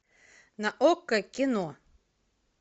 на окко кино